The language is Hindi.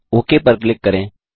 ओक पर क्लिक करें